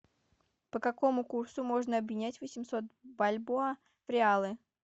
по какому курсу можно обменять восемьсот бальбоа в реалы